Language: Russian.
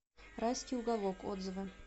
райский уголок отзывы